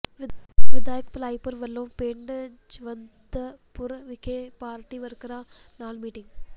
ਵਿਧਾਇਕ ਭਲਾਈਪੁਰ ਵਲੋਂ ਪਿੰਡ ਜਵੰਦਪੁਰ ਵਿਖੇ ਪਾਰਟੀ ਵਰਕਰਾਂ ਨਾਲ ਮੀਟਿੰਗ